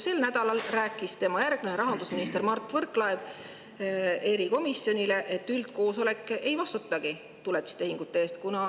Sel nädalal rääkis tema järglane rahandusministrina Mart Võrklaev erikomisjonile, et üldkoosolek ei vastuta tuletistehingute eest.